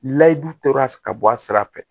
Layidu tora ka bɔ a sira fɛ